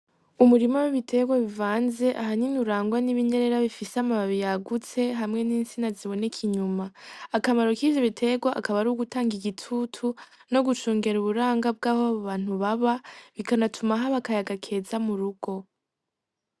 Umurima w'ibiterwa bivanze ahanyine urangwa n'ibinyerera bifise amababi yagutse hamwe n'insina ziboneka inyuma akamaro k'ivyo biterwa akaba ari wo gutanga igitutu no gucungera uburanga bw'aho ba bantu baba bikanatuma ahabo akaya agakeza mu rugo.